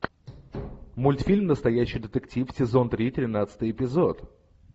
мультфильм настоящий детектив сезон три тринадцатый эпизод